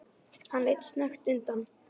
Hann leit snöggt undan.